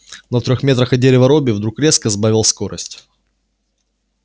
но в трёх метрах от дерева робби вдруг резко сбавил скорость